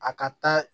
A ka taa